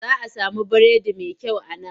Za a samu biredi mai kyau a nan.